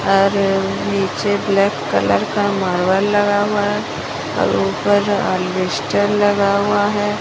और नीचे black colour का मार्बल लगा हुआ है और ऊपर अलबेस्टर लगा हुआ है।